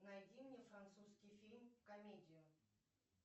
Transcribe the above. найди мне французский фильм комедию